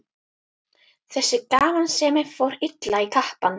Þessi gamansemi fór illa í kappann.